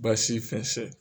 Basi fɛnsɛ